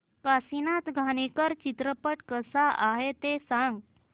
काशीनाथ घाणेकर चित्रपट कसा आहे ते सांग